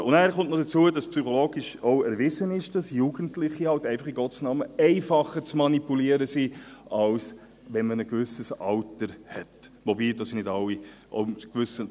Also: Hinzu kommt, dass es psychologisch auch erwiesen ist, dass Jugendliche halt einfach, in Gottes Namen, einfacher zu manipulieren sind, als wenn man ein gewisses Alter hat, wobei wir alle wissen: